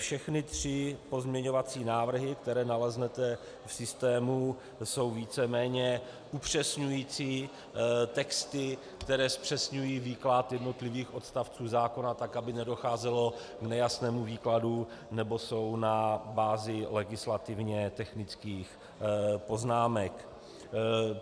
Všechny tři pozměňovací návrhy, které naleznete v systému, jsou víceméně upřesňující texty, které zpřesňují výklad jednotlivých odstavců zákona tak, aby nedocházelo k nejasnému výkladu, nebo jsou na bázi legislativně technických poznámek.